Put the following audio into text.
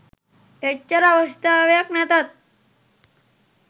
එච්චර අවශ්‍යතාවයක් නැතත්